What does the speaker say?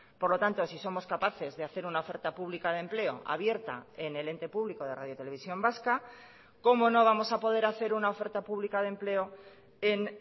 por lo tanto si somos capaces de hacer una oferta pública de empleo abierta en el ente público de radio televisión vasca cómo no vamos a poder hacer una oferta pública de empleo en